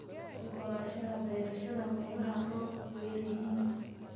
Oggolaanshaha beerashada meelaha roobabku ku yar yihiin.